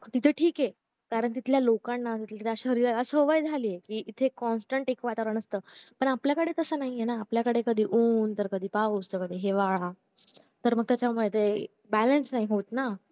तिथे ठीक ऐ कारण तिथल्या लोकांना तिथल्या शहरीरारा सवय झालीय तिथे constant ऐक वातावरण असत आपल्याकडे तास नाहीए आपल्याकडे कधी ऊन कधी पाऊस तरी कधी हिवाळा तर त्याच्या मध्ये ते balance नाही होत ना